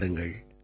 வணக்கம்